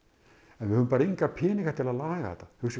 en við höfum enga peninga til að laga þetta hugsið